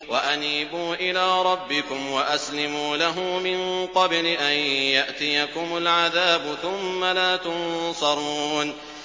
وَأَنِيبُوا إِلَىٰ رَبِّكُمْ وَأَسْلِمُوا لَهُ مِن قَبْلِ أَن يَأْتِيَكُمُ الْعَذَابُ ثُمَّ لَا تُنصَرُونَ